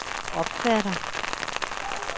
opfatter